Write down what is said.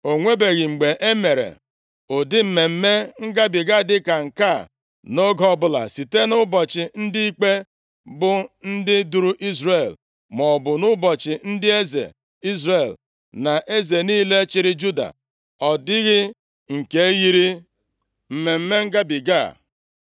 O nwebeghị mgbe e mere ụdị Mmemme Ngabiga dịka nke a nʼoge ọbụla, site nʼụbọchị ndị ikpe bụ ndị duru Izrel maọbụ nʼụbọchị ndị eze Izrel na eze niile chịrị Juda, ọ dịghị nke yiri Mmemme Ngabiga a.